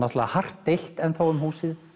hart deilt enn um húsið